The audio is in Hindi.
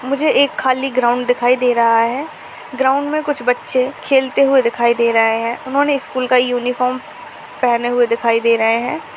मुझे एक खाली ग्राउंड दिखाई दे रहा है। ग्राउंड में कुछ बच्चे खेलते हुए दिखाई दे रहे हैं। उन्होंने स्कूल का यूनिफॉर्म पहने हुए दिखाई दे रहे हैं।